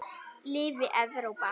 Lifi Evrópa.